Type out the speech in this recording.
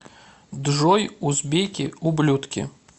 джой узбеки ублюдки